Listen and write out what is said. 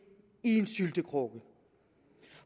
i en syltekrukke